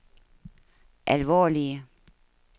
alvorlige